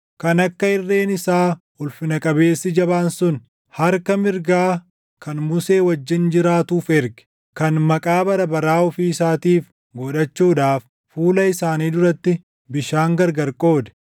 kan akka irreen isaa ulfina qabeessi jabaan sun, harka mirgaa kan Musee wajjin jiraatuuf erge, kan maqaa bara baraa ofii isaatiif godhachuudhaaf fuula isaanii duratti bishaan gargar qoode,